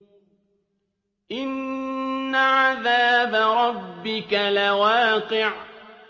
إِنَّ عَذَابَ رَبِّكَ لَوَاقِعٌ